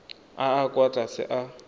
a a kwa tlase a